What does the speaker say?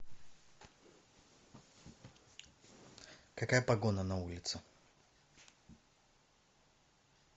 какая погода на улице